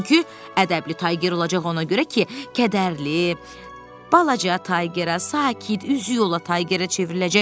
Çünki ədəbli Tayger olacaq ona görə ki, kədərli, balaca Taygerə, sakit, üzüyola Taygerə çevriləcək.